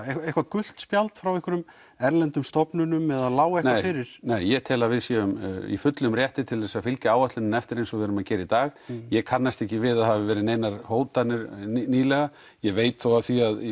eitthvað gult spjald frá einhverjum erlendum stofnunum eða lá eitthvað fyrir nei ég tel að við séum í fullum rétti til þess að fylgja áætluninni eftir eins og við erum að gera í dag ég kannast ekki við að það hafi verið einhverjar hótanir nýlega ég veit þó af því að í